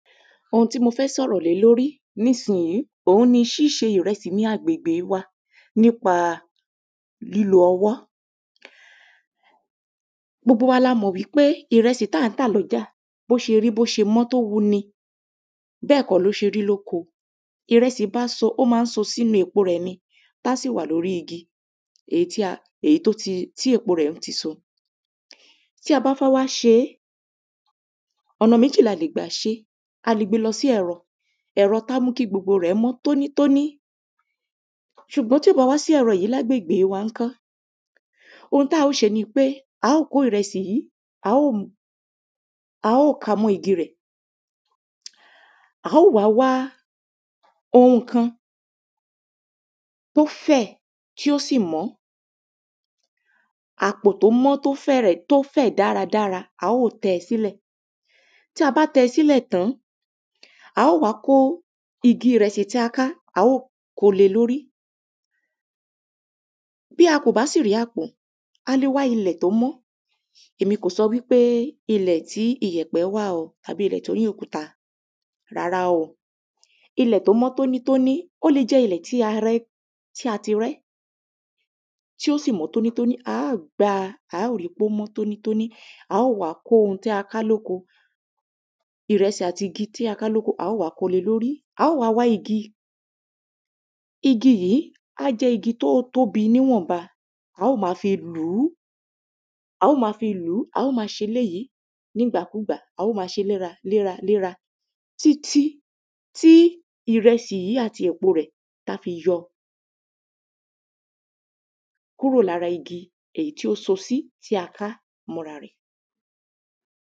Ohun tí mo fẹ́ sọ̀rọ̀ lé lórí nísínyí òun ni ṣíṣe ìrẹsì ni agbègbè wa nípa lílo ọwọ́ gbogbo wa lo mọ̀ wípé ìrẹsì tá ń tà lọ́jà bó ṣe rí bó ṣe mọ́ tó wu ni bẹ́ẹ̀ kọ́ ló ṣe rí lóko ìrẹsì ó má ń so sínú èpo rẹ̀ ní tá sì wà lórí igi éyí tó ti tí èpo rẹ̀ ó ti so tí a bá fẹ́ wá ṣe ọ̀nà méjì la lè gbà ṣé a lè gbe lọ sí ẹrọ ẹ̀rọ tá mú kí gbogbo rẹ̀ mọ́ tónítóní ṣùgbọ́n tí ò bá wá sí ẹ̀rọ yí lágbègbè wa ńkó ohun tá ò ṣe nipé á ò kó ìrẹsì yí a ó mu a ó ka mọ́ igi rẹ̀ a ó wá wá ohun kan tó fẹ̀ tí ó sì mọ́ àpò tó mọ́ tó fẹ̀rẹ̀ tó fẹ̀ dáradára a ó tẹ sílẹ̀ tí a bá tẹ sílẹ̀ tán a ó wá kó igi ìrẹsì tí a ká a ó ko le lórí bí a kò bá sì rí àpò a le wá ilẹ̀ tó mọ́ èmi kò so wípé ilẹ̀ tí iyẹ̀pẹ̀ wà o àbí ilẹ̀ torí òkúta rárá o ilẹ̀ tó mọ́ tónítóní ó le jẹ́ ilẹ̀ tí a rẹ́ tí a tí rẹ́ tí ó sì mọ́ tónítóní á gba á ripé ó mọ́ tónítóní a ó wa ká ohun tí a ká lóko ìrẹsì àti igi tí a ká lóko a ó wa kole lórí a ó wá wá igi igi yí á jẹ́ igi tó tóbi níwọ̀n ba a ó ma fi lùú a ó ma fi lùú a ó ma ṣe èléyi nígbàkúgbà a ó ma ṣe lé ra lé ra lé ra títí tí ìrẹsì yí àti èpo rẹ̀ tá fi yọ kúrò lára igi èyí tí ó so sí tí a ká mọ́ ra rẹ̀